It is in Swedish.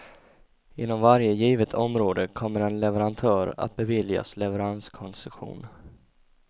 Inom varje givet område kommer en leverantör att beviljas leveranskoncession.